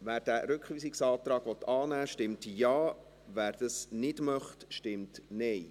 Wer diesen Rückweisungsantrag annehmen will, stimmt Ja, wer das nicht möchte, stimmt Nein.